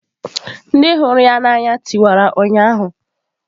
Ndị hụrụ ya n'anya tiwara ụnyaahụ.